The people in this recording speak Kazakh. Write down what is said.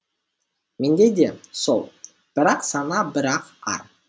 менде де сол бір ақ сана бір ақ ар